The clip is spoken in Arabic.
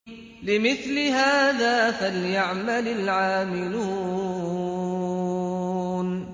لِمِثْلِ هَٰذَا فَلْيَعْمَلِ الْعَامِلُونَ